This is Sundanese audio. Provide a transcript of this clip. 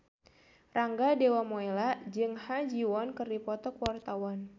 Rangga Dewamoela jeung Ha Ji Won keur dipoto ku wartawan